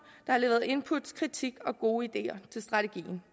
der har leveret input kritik og gode ideer til strategien